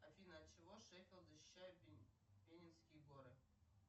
афина от чего шеффилд защищает пеннинские горы